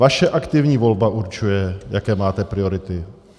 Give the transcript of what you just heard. Vaše aktivní volba určuje, jaké máte priority.